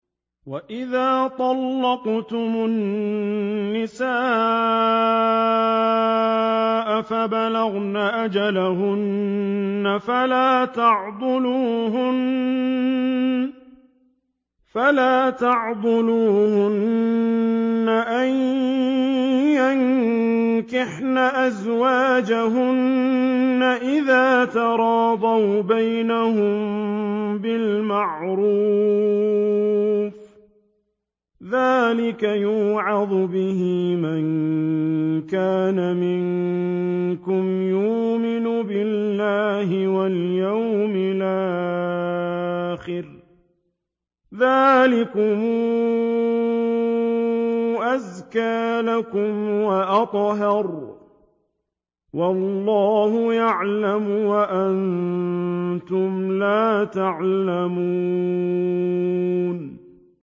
وَإِذَا طَلَّقْتُمُ النِّسَاءَ فَبَلَغْنَ أَجَلَهُنَّ فَلَا تَعْضُلُوهُنَّ أَن يَنكِحْنَ أَزْوَاجَهُنَّ إِذَا تَرَاضَوْا بَيْنَهُم بِالْمَعْرُوفِ ۗ ذَٰلِكَ يُوعَظُ بِهِ مَن كَانَ مِنكُمْ يُؤْمِنُ بِاللَّهِ وَالْيَوْمِ الْآخِرِ ۗ ذَٰلِكُمْ أَزْكَىٰ لَكُمْ وَأَطْهَرُ ۗ وَاللَّهُ يَعْلَمُ وَأَنتُمْ لَا تَعْلَمُونَ